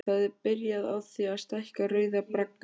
Það er byrjað á því að stækka Rauða braggann.